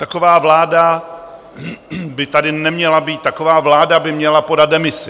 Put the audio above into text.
Taková vláda by tady neměla být, taková vláda by měla podat demisi.